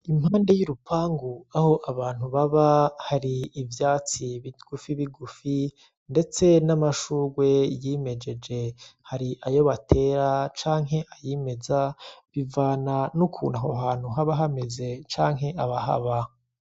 Impande y'urupangu aho abantu baba hari ivyatsi bigufi bigufi, ndetse n'amshugwe yimejeje. Hari ayo batera canke ayimeza bivana n'ukuntu Aho hantu haba hameze canke abahaba.